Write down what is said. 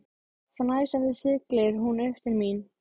Fnæsandi siglir hún upp til sín.